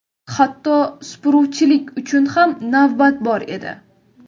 Hatto supuruvchilik uchun ham navbat bor edi.